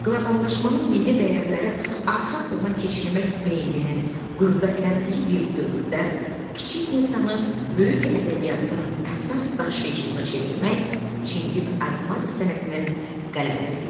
Qloballaşmanın milli dəyərləri arxa plana keçirmək meylinin qüvvətləndiyi bir dövrdə kiçik insanı böyük ədəbiyyatın əsas daşıyıcısına çevirmək Çingiz Aytmatov sənətinin qələbəsi idi.